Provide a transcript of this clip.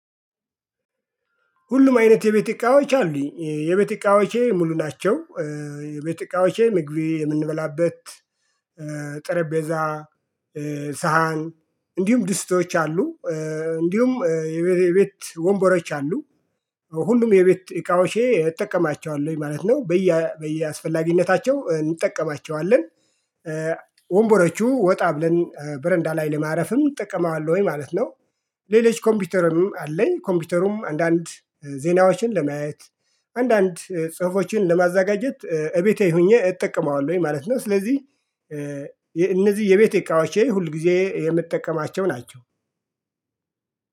ሁሉም አይነት የቤት እቃዎች አሉኝ የቤት እቃዎቼ ሙሉ ናቸው። የቤት እቃዎቼ ምግብ የምንበላበት ጠረጴዛ ሳህን እንዲሁም ድስቶች አሉ። እንዲሁም የቤት ወንበሮች አሉ። ሁለም የቤት እቃዎቼ እጠቀማቸዋለሁ ማለት ነው። በየ አስፈላግነታቸው እንጠቀማቸኋለን። ወንበሮቹ ወጣ ብለን በረንዳ ላይ ለማረፍም እጠቀማለሁ ማለት ነው። ሌሎች ኮምፒውተርም አለኝ። ኮምፒውተሩም አንዳንድ ዜናዎችን ለማየት አንዳንድ ጽሁፎችን ለማዘጋጀት እቤተ ሆኜ እጠቀመዋለሁ ማለት ነው። ስለዚህ እነዚህ የቤት እቃዎቼ ሁልጊዜ የምጠቀማቸው ናቸው።